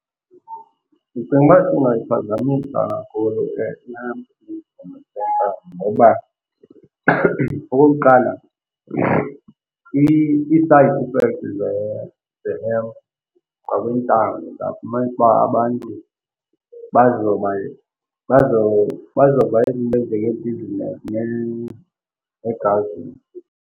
Ndicinga uba singasiphazamisa kakhulu le hemp ibhizinesi yentsangu ngoba okokuqala, ii-side effects ze-hemp kwakwintsangu uzafumanisa uba abantu bazoba ibhizinesi ne-government.